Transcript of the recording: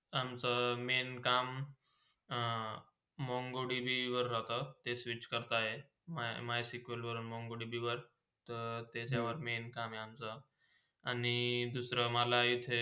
आचाम Main काम अं mongo tv वर राहता ते switch करता आहे my my sequel वर mongo tv वर त्याच्यावर main काम अमचा आणि दूसरा मला इथे.